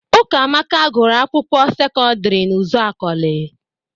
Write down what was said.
Ụkamaka gụrụ akwụkwọ sekọdịrị n'Ụzakọlị.